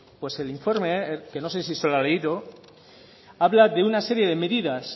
pues el informe que no sé si se lo ha leído habla de una serie de medidas